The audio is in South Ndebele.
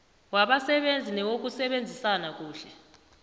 wabasebenzi newokusebenzisana kuhle